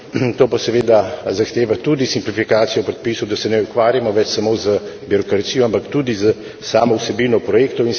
To pa seveda zahteva tudi simplifikacijo predpisov, da se ne ukvarjamo več samo z birokracijo, ampak tudi s samo vsebino projektov.